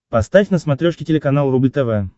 поставь на смотрешке телеканал рубль тв